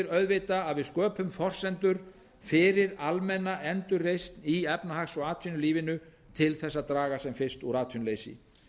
auðvitað að við sköpum forsendur fyrir almenna endurreisn í efnahags og atvinnulífinu til þess að draga sem fyrst úr atvinnuleysi